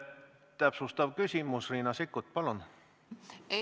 Täpsustav küsimus, Riina Sikkut, palun!